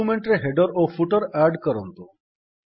document ରେ header ଓ footer add କରନ୍ତୁ